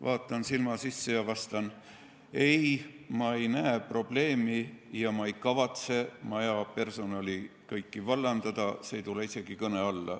Vaatan silma sisse ja vastan: ei, ma ei näe probleemi ja ma ei kavatse kogu maja personali vallandada, see ei tule isegi kõne alla.